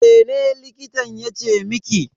Mene likitan yace miki?